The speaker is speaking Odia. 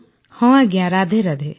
ହଁ ରାଧେରାଧେ